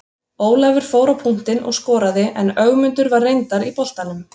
Ólafur fór á punktinn og skoraði en Ögmundur var reyndar í boltanum.